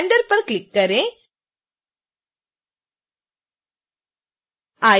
फिर render पर click करें